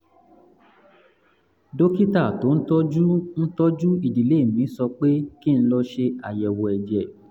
dókítà tó ń tọ́jú ń tọ́jú ìdílé mi sọ pé kí n lọ ṣe àyẹ̀wò ẹ̀jẹ̀